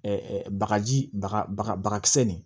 bagaji baga baga bagakisɛ nin